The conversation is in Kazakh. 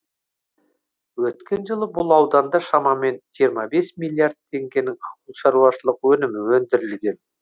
өткен жылы бұл ауданда шамамен жиырма бес миллиард теңгенің ауылшаруашылық өнімі өндірілген